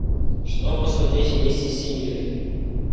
что посмотреть вместе с семьей